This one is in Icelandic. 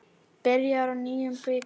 Byrjar á nýjum bikar.